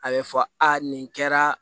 A bɛ fɔ a nin kɛra